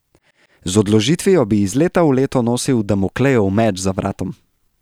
Z odložitvijo bi iz leta v leto nosil Damoklejev meč za vratom.